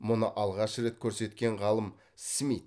мұны алғаш рет көрсеткен ғалым смит